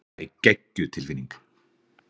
Það er geggjuð tilfinning.